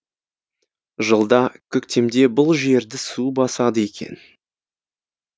жылда көктемде бұл жерді су басады екен